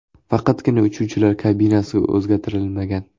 Faqatgina uchuvchilar kabinasi o‘zgartirilmagan.